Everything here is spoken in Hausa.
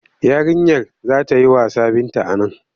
Yarinyar za ta yi wasa Binta a nan.